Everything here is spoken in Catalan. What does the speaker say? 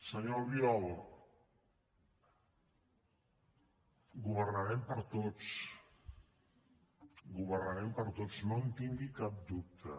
senyor albiol governarem per a tots governarem per a tots no en tingui cap dubte